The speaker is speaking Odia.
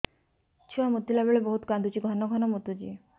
ଛୁଆ ମୁତିଲା ବେଳେ ବହୁତ କାନ୍ଦୁଛି ଘନ ଘନ ମୁତୁଛି